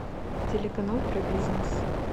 телеканал про бизнес